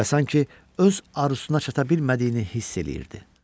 Və sanki öz arzusuna çata bilmədiyini hiss eləyirdi.